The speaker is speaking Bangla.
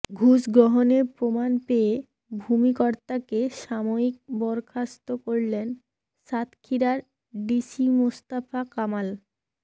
ঘুষ গ্রহণের প্রমাণ পেয়ে ভূমি কর্মকর্তাকে সাময়িক বরখাস্ত করলেন সাতক্ষীরার ডিসি মোস্তফা কামাল